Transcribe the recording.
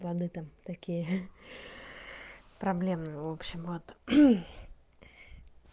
да-да там такие проблемы в общем вот